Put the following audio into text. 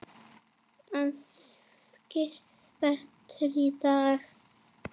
Það skýrist betur í dag.